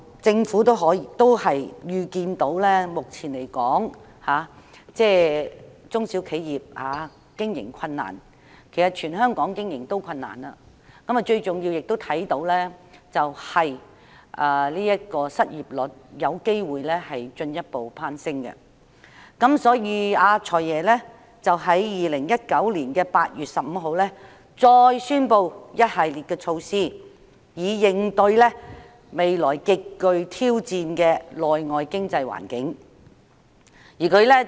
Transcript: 政府預視到中小型企業目前經營困難——全港企業其實皆經營困難——最重要的是預計失業率有機會進一步攀升，所以"財爺"在2019年8月15日再宣布一系列措施，以應對未來極具挑戰的內外經濟環境。